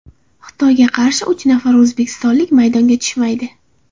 Xitoyga qarshi uch nafar o‘zbekistonlik maydonga tushmaydi.